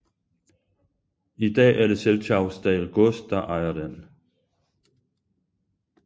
I dag er det Selchausdal gods der ejer den